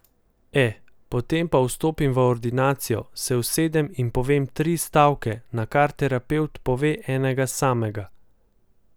E, potem pa vstopim v ordinacijo, se usedem in povem tri stavke, nakar terapevt pove enega samega ...